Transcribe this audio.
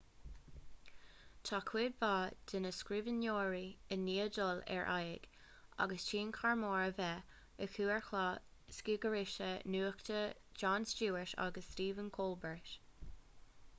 tá cuid mhaith de na scríbhneoirí i ndiaidh dul ar aghaidh agus tionchar mór a bheith acu ar chláir scigaithrise nuachta jon stewart agus stephen colbert